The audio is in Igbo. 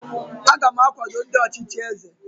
aga m akwado ndị ọchịchị eze